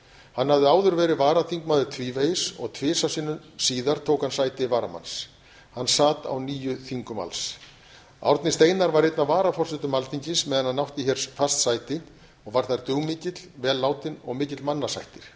hann hafði áður verið varaþingmaður tvívegis og tvisvar sinnum síðar tók hann sæti varamanns hann sat á níu þingum alls árni steinar var einn af varaforsetum alþingis meðan hann átti hér fast sæti og var þar dugmikill vel látinn og mikill mannasættir